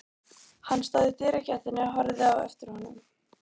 Hann stóð í dyragættinni og horfði á eftir honum.